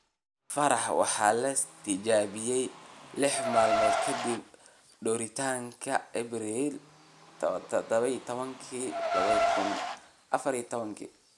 Faarax waxa la tijaabiyey lix maalmood kadib duritaanka - Abriil 17, 2014.